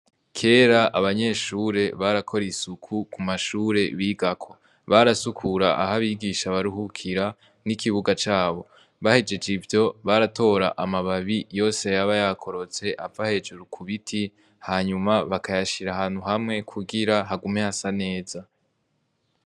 Kera abanyeshure barakora isuku ku mashure bigako. Barasukura aho abigisha baruhukira n'ikibuga cabo. Bahejeje ivyo baratora amababi yose yaba yakorotse ava hejuru ku biti hanyuma bakayashira ahantu hamwe kugira hagume hasa neza.